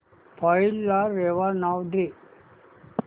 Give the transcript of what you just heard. file ला रेवा नाव दे